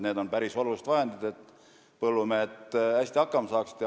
Need on päris suured vahendid, et põllumehed hästi hakkama saaksid.